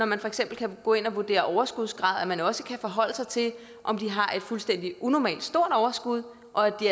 man for eksempel kan gå ind og vurdere overskudsgrad betyder at man også kan forholde sig til om de har et fuldstændig unormalt stort overskud og